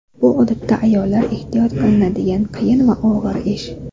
Bu odatda ayollar ehtiyot qilinadigan qiyin va og‘ir ish.